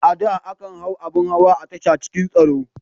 A da, akan hau abin hawa a tasha cikin tsaro.